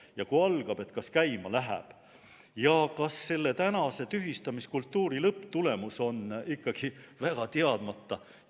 Ja kui algab, kas käima läheb ja kas selle tänase tühistamiskultuuri lõpptulemus on ikkagi väga teadmata.